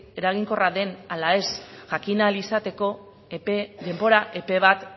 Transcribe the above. eraginkorra den ala ez jakin ahal izateko epe denbora epe bat